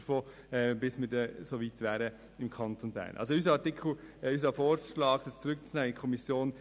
Unser Vorschlag ist, den Artikel in die Kommission zurückzunehmen.